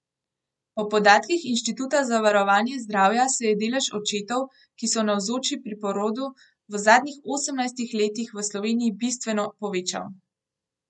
Po podatkih Inštituta za varovanje zdravja se je delež očetov, ki so navzoči pri porodu, v zadnjih osemnajstih letih v Sloveniji bistveno povečal.